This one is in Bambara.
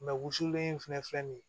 wusulen in fɛnɛ filɛ nin ye